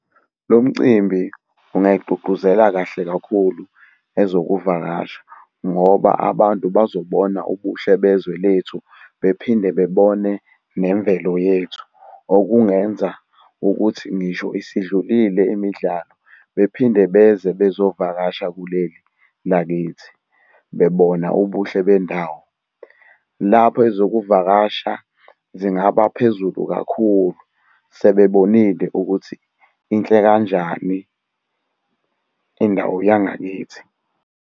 Lo mcimbi ungayigqugquzela kahle kakhulu ezokuvakasha ngoba abantu bazobona ubuhle bezwe lethu bephinde bebone nemvelo yethu. Okungenza ukuthi ngisho isidlulile imidlalo bephinde beze bezovakasha kuleli lakithi, bebona ubuhle bendawo. Lapho ezokuvakasha zingaba phezulu kakhulu, sebebonile ukuthi inhle kanjani indawo yangakithi.